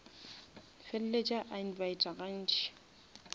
feleletše a invita ga ntši